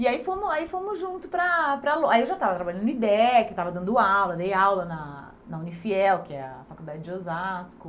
E aí fomos aí fomos junto para para... Aí eu já estava trabalhando no IDEC, estava dando aula, dei aula na na UniFiel, que é a faculdade de Osasco.